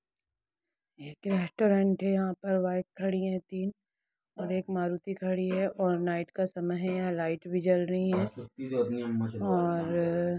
एक रेसटूरेंट हैयहा पे बाइक खड़ी हैतीन और एक मारुति खड़ी है और नाइट का समय है यहा लाइट भी जल रही है और--